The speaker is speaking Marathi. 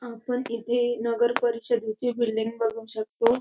आपण इथे नगर परिषदेची बिल्डिंग बघू शकतो.